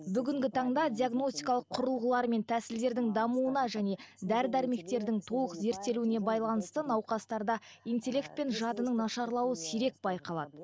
бүгінгі таңда диагностикалық құрылғыларымен тәсілдердің дамуына және дәрі дәрмектердің толық зерттелуіне байланысты науқастарда интеллект пен жадының нашарлауы сирек байқалады